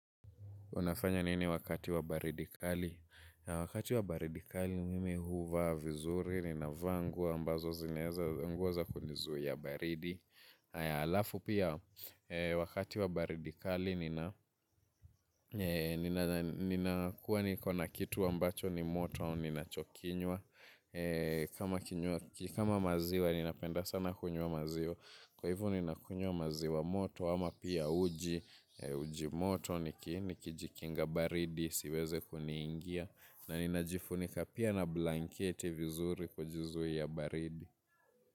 Unafanya nini wakati wa baridi kali? Wakati wa baridi kali mimi huvaa vizuri, nina vaa nguo ambazo zineza, nguo za kunizuia baridi. Aya alafu pia, wakati wa baridi kali, nina kuwa ni kona kitu ambacho ni moto au ninacho kinywa. Kama maziwa, nina penda sana kunywa maziwa. Kwa hivo nakunywa maziwa moto ama pia uji uji moto nikijikinga baridi siweze kuniingia. Na ninajifunika pia na blanketi vizuri kujizuia baridi.